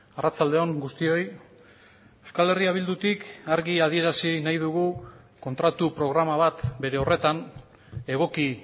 arratsalde on guztioi euskal herria bildutik argi adierazi nahi dugu kontratu programa bat bere horretan egoki